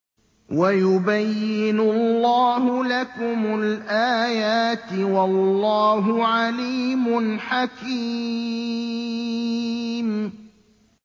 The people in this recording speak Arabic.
وَيُبَيِّنُ اللَّهُ لَكُمُ الْآيَاتِ ۚ وَاللَّهُ عَلِيمٌ حَكِيمٌ